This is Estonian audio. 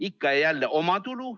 Ikka ja jälle omatulu.